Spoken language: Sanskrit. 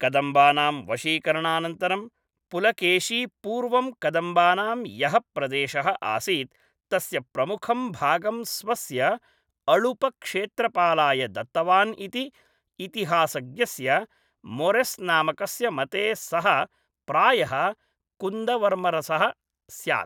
कदम्बानां वशीकरणानन्तरं, पुलकेशी पूर्वं कदम्बानां यः प्रदेशः आसीत् तस्य प्रमुखं भागं स्वस्य अळुपक्षेत्रपालाय दत्तवान् इति, इतिहासज्ञस्य मोरेस् नामकस्य मते सः प्रायः कुन्दवर्मरसः स्यात्।